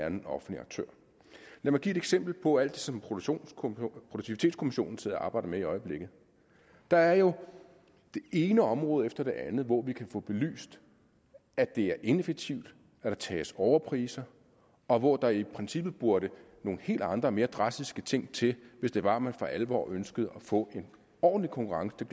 en offentlig aktør lad mig give et eksempel på alt det som produktivitetskommissionen sidder og arbejder med i øjeblikket der er jo det ene område efter det andet hvor vi kan få belyst at det er ineffektivt at der tages overpriser og hvor der i princippet burde nogle helt andre og mere drastiske ting til hvis det var at man for alvor ønskede at få en ordentlig konkurrence til